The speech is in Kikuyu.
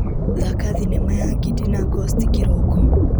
Thaka thinema ya Ngindi na Ngosti kĩroko .